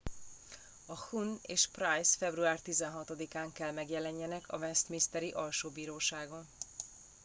a huhne és pryce február 16 án kell megjelenjenek a westminsteri alsóbíróságon